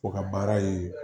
O ka baara ye